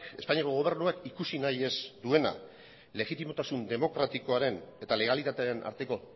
espainiako gobernuak ikusi nahi ez duena legitimotasun demokratikoaren eta legalitatearen arteko